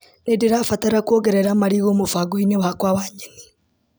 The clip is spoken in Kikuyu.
Nĩndĩrabatara kuongerera marigũ mũbango-inĩ wakwa wa nyeni .